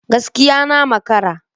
Gaskiya! Na makara